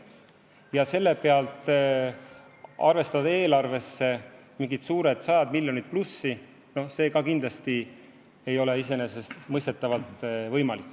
Ja selle alusel arvestada eelarvesse mingid sajad miljonid plussi – see kindlasti ei ole iseenesestmõistetavalt võimalik.